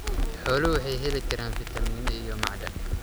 Xooluhu waxay heli karaan fitamiino iyo macdan.